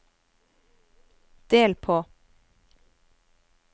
del på